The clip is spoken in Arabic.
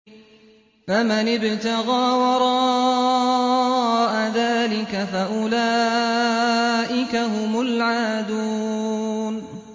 فَمَنِ ابْتَغَىٰ وَرَاءَ ذَٰلِكَ فَأُولَٰئِكَ هُمُ الْعَادُونَ